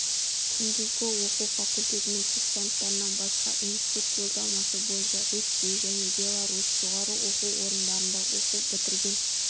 күндізгі оқу факультетінің курсанттарынан басқа институт жолдамасы бойынша ресей және беларусь жоғары оқу орындарында оқу бітірген